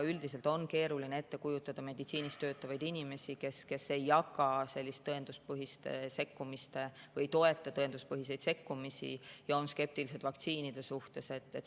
Üldiselt on keeruline ette kujutada meditsiinis töötavaid inimesi, kes ei toeta tõenduspõhiseid sekkumisi ja on skeptilised vaktsiinide suhtes.